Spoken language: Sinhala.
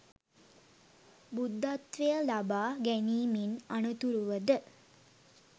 බුද්ධත්වය ලබා ගැනීමෙන් අනතුරුව ද